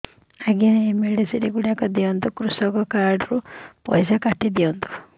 ଆଜ୍ଞା ଏ ମେଡିସିନ ଗୁଡା ଦିଅନ୍ତୁ କୃଷକ କାର୍ଡ ରୁ ପଇସା କାଟିଦିଅନ୍ତୁ